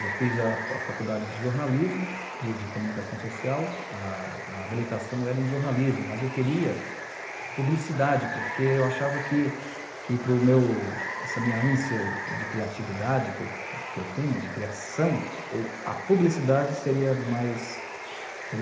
Eu fiz a a faculdade de jornalismo, de de comunicação social, a a habilitação era em jornalismo, mas eu queria publicidade, porque eu achava que que para o meu, essa minha ânsia de criatividade que que eu tenho, de criação, a publicidade seria mais